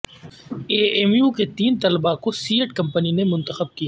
اے M U کے تین طلبہ کو سیئٹ کمپنی نے منتخب کیا